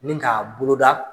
Nin k'a boloda.